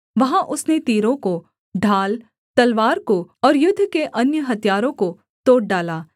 वहाँ उसने तीरों को ढाल तलवार को और युद्ध के अन्य हथियारों को तोड़ डाला सेला